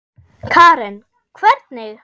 Karen: Hvernig?